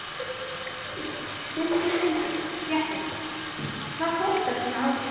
Sindri Sindrason, fréttamaður: Hvað kostar svona aðgerð?